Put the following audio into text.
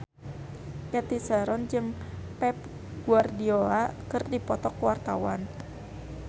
Cathy Sharon jeung Pep Guardiola keur dipoto ku wartawan